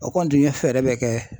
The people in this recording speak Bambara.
O kɔni tun ye fɛɛrɛ bɛɛ kɛ.